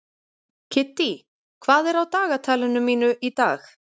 Kiddý, hvað er á dagatalinu mínu í dag?